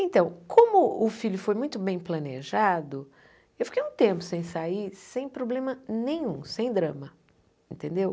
Então, como o filho foi muito bem planejado, eu fiquei um tempo sem sair, sem problema nenhum, sem drama, entendeu?